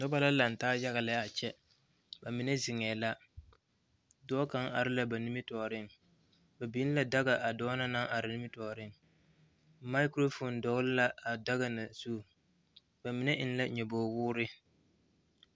Noba la lantaa yaga lɛ a kyɛ ba mine zeŋee la dɔɔ kaŋa are la ba nimitɔɔreŋ ba biŋ la daga a dɔɔ na naŋ are nimitɔɔreŋ maakuro foono dɔgla a daga na zu ba mine eŋ la nyɔboo woore